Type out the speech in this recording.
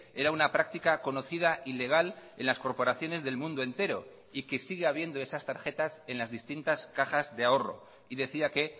era una práctica conocida y legal en las corporaciones del mundo entero y que sigue habiendo esas tarjetas en las distintas cajas de ahorro y decía que